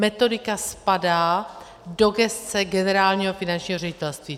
Metodika spadá do gesce Generálního finančního ředitelství.